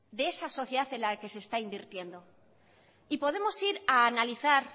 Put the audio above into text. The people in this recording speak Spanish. de esa sociedad en la que está invirtiendo y podemos ir a analizar